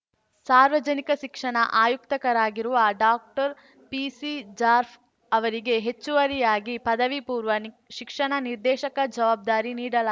ಸಾರ್ವಜನಿಕ ಶಿಕ್ಷಣ ಆಯುಕ್ತರಾಗಿರುವ ಡಾಕ್ಟರ್ಪಿಸಿ ಜಾರ್ಫ್ ಅವರಿಗೆ ಹೆಚ್ಚುವರಿಯಾಗಿ ಪದವಿಪೂರ್ವ ನಿ ಶಿಕ್ಷಣ ನಿರ್ದೇಶಕ ಜವಾಬ್ದಾರಿ ನೀಡಲಾ